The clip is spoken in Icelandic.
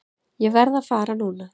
Ég verð að fara núna!